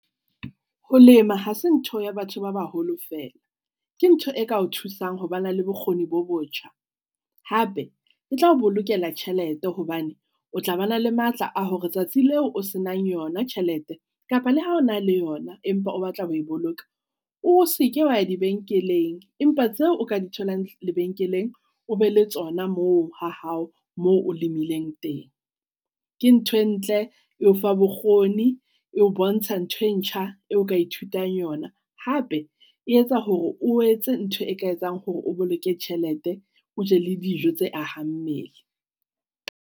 Ho lema ha se ntho ya batho ba baholo feela, ke ntho e ka o thusang ho ba na le bokgoni bo botjha. Hape ke tla o bolokela tjhelete hobane o tla ba na le matla a hore tsatsi leo o se nang yona tjhelete kapa le ha o na le yona. Empa o batla ho e boloka, o se ke wa ya dibenkeleng, empa tseo o ka di tholang lebenkeleng, o be le tsona moo ha hao moo o lemileng teng. Ke ntho e ntle eo fa bokgoni eo bontsha ntho e ntjha eo ka ithutang yona, hape e etsa hore o etse ntho e ka etsang hore o boloke tjhelete, o je le dijo tse ahang mmele.